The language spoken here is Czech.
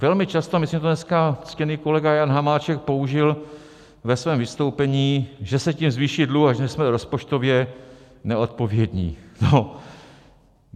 Velmi často, myslím, že to dneska ctěný kolega Jan Hamáček použil ve svém vystoupení, že se tím zvýší dluh a že jsme rozpočtově neodpovědní.